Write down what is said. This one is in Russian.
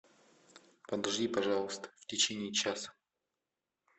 подожди пожалуйста в течение часа